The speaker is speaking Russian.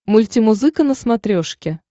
мультимузыка на смотрешке